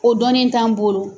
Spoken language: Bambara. O dɔnni t'an bolo.